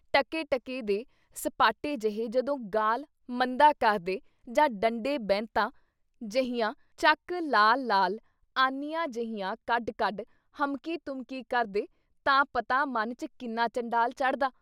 ਟਕੇ-ਟਕੇ ਦੇ ਸਪਾਟੇ ਜਿਹੇ ਜਦੋਂ ਗਾਲ੍ਹ ਮੰਦਾ ਕਰਦੇ ਜਾਂ ਡੰਡੇ ਬੈਂਤਾ ਜਹੀਆਂ ਚੱਕ ਲਾਲ-ਲਾਲ ਆਨੀਆਂ ਜਹੀਆਂ ਕੱਢ-ਕੱਢ ਹਮਕੀ ਤੁਮਕੀ ਕਰਦੇ ਤਾਂ ਪਤਾ ਮਨ 'ਚ ਕਿੰਨਾ ਚੰਡਾਲ ਚੜ੍ਹਦਾ ?